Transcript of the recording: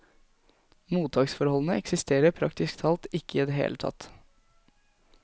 Mottaksforholdene eksisterer praktisk talt ikke i det hele tatt.